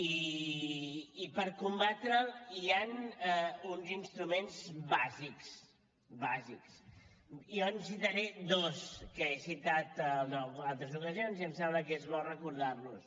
i per combatre’l hi han uns instruments bàsics bàsics jo en citaré dos que he citat en altres ocasions i em sembla que és bo recordar los